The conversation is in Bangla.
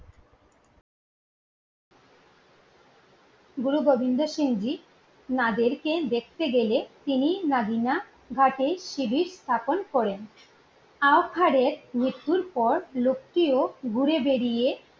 গুরু গোবিন্দ সিং জি ওনাদেরকে দেখতে গেলে তিনি নাবিনা ঘাটে স্থাপন করেন। আওকারের মৃত্যুর পর লোকটিও ঘুরে বেরিয়ে